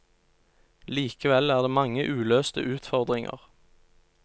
Likevel er det mange uløste utfordringer.